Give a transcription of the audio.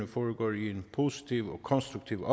foregår i en positiv og konstruktiv